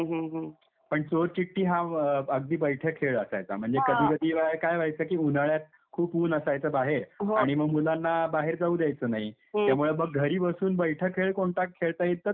पण चोर चिठ्ठी हा अगदी बैठा खेळ असायचा म्हणजे कधीकधी काय व्हायचं की उन्हाळ्यात खूप ऊन असायचं बाहेर हो आणि मग मुलांना बाहेर जाऊ द्यायचं नाही त्यामुळे मग घरी बसून बैठा खेळ कोणता खेळता येईल तर चोर चिठ्ठी.